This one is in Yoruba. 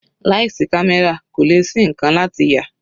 Láì sí camera kò lè ṣí nkankan láti yà.